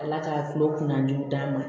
Ala ka tulo kunnajugu d'a ma